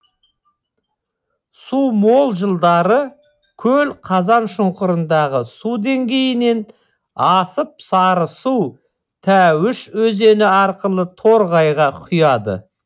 су мол жылдары көл қазаншұңқырындағы су деңгейінен асып сарысу тәуіш өзені арқылы торғайға құяды